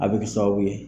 A bɛ kɛ sababu ye